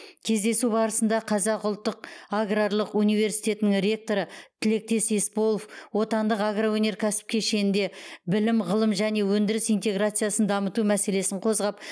кездесу барысында қазақ ұлттық аграрлық университетінің ректоры тілектес есполов отандық агроөнеркәсіптік кешенінде білім ғылым және өндіріс интеграциясын дамыту мәселесін қозғап